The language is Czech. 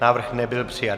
Návrh nebyl přijat.